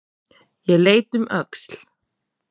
Ég leit um öxl.